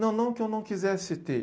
Não, não que eu não quisesse ter.